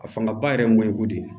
A fanga ba yɛrɛ ye ŋɔɲɛko de ye